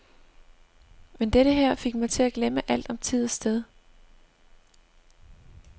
Men dette her fik mig til at glemme alt om tid og sted.